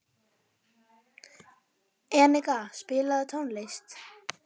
Enika, spilaðu tónlist.